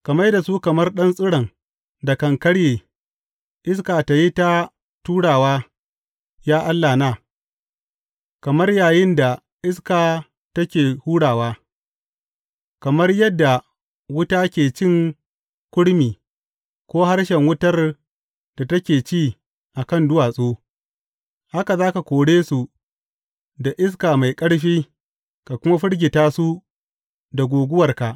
Ka mai da su kamar ɗan tsiron da kan karye, iska ta yi ta turawa, ya Allahna, kamar yayin da iska take hurawa, kamar yadda wuta ke cin kurmi ko harshen wutar da take ci a kan duwatsu, haka za ka kore su da iska mai ƙarfi ka kuma firgita su da guguwarka.